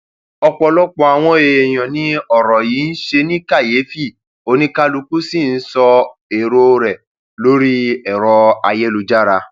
ó lọ ipade awọn ololufe nnkan osin nibi ayẹyẹ to nise pelu aja tí won se laduugbo won